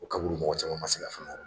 O kaburu mɔgɔ caman ma se ka